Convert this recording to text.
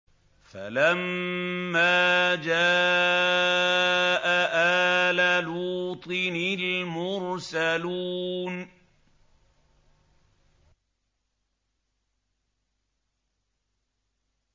فَلَمَّا جَاءَ آلَ لُوطٍ الْمُرْسَلُونَ